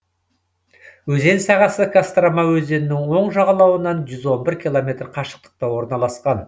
өзен сағасы кострома өзенінің оң жағалауынан жүз он бір километр қашықтықта орналасқан